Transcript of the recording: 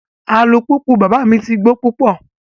Alupupu baba mi ti gbo pupọ